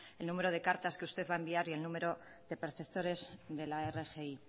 el número de cartas que usted va a enviar y el número de perceptores de la rgi